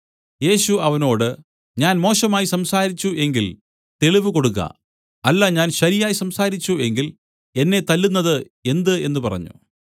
യേശു അവനോട് ഞാൻ മോശമായി സംസാരിച്ചു എങ്കിൽ തെളിവ് കൊടുക്ക അല്ല ഞാൻ ശരിയായി സംസാരിച്ചു എങ്കിൽ എന്നെ തല്ലുന്നത് എന്ത് എന്നു പറഞ്ഞു